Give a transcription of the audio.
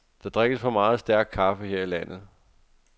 Der drikkes for meget stærk kaffe her i landet.